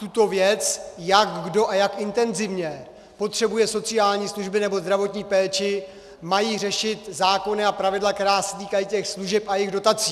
Tuto věc, jak kdo a jak intenzivně potřebuje sociální služby nebo zdravotní péči, mají řešit zákony a pravidla, která se týkají těch služeb a jejich dotací.